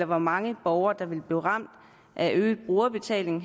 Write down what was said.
hvor mange borgere der bliver ramt af øget brugerbetaling